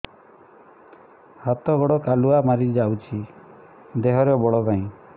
ହାତ ଗୋଡ଼ କାଲୁଆ ମାରି ଯାଉଛି ଦେହରେ ବଳ ନାହିଁ